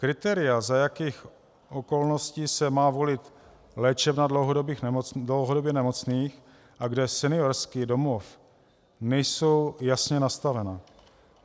Kritéria, za jakých okolností se má volit léčebna dlouhodobě nemocných a kde seniorský domov, nejsou jasně nastavena.